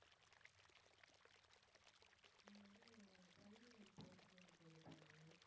நான் வந்து training and placement இது பண்ண